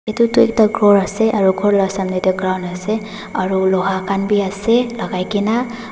Etu toh ekta ghor ase aro ghor la samne tey ground ase aro loha khan bi ase lagai kena.